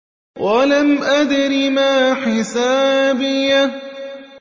وَلَمْ أَدْرِ مَا حِسَابِيَهْ